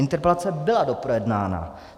Interpelace byla doprojednána.